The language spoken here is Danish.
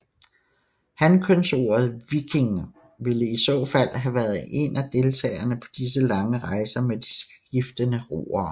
Hankønsordet víkingr ville i så fald have været en af deltagere på disse lange rejser med de skiftende roere